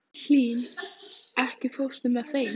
Hlín, ekki fórstu með þeim?